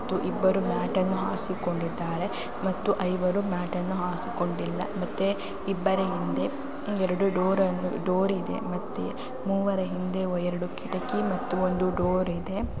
ಮತ್ತು ಇಬ್ಬರು ಮ್ಯಾಟ್ ಅನ್ನು ಹಾಸಿಕೊಂಡಿದ್ದಾರೆ ಮತ್ತೆ ಐವರು ಮ್ಯಾಟ್ಟನ್ನು ಹಾಸಿಕೊಂಡಿಲ್ಲ ಮತ್ತೆ ಇಬ್ಬರ ಹಿಂದೆ ‌ ಎರಡು ಡೋರನು ಡೊರ ಇದೆ ಮತ್ತೆ ಮೂವರ ಹಿಂದೆ ಎರಡು ಕಿಟಕಿ ಮತ್ತು ಒಂದು ಡೋರ್ ಇದೆ .